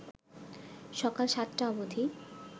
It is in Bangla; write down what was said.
সকাল ৭টা অবধি